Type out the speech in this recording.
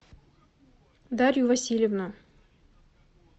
дарью васильевну